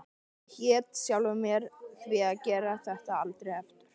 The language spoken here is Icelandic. Ég hét sjálfri mér því að gera þetta aldrei aftur.